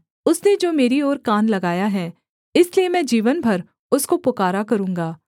उसने जो मेरी ओर कान लगाया है इसलिए मैं जीवन भर उसको पुकारा करूँगा